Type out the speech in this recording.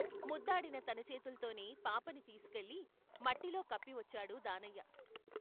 ముద్దాడిన తన చేతుల్తోనే పాపని తీసికెళ్ళి మట్టిలో కప్పివచ్చాడు దానయ్య.